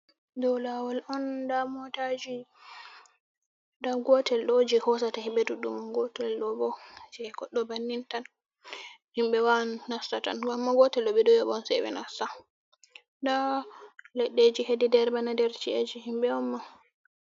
Dou laawol'on nda motaji nda gotelɗo je hoosata hiimɓe ɗuɗdum, gootel ɗobo je godɗo bannintan. Himɓe wawan nastatan amma gootelɗo ɓeɗon yooɓa'on seɓe nasta, nda ledɗeji hedi nder bana nder ci'eji himɓe'onma.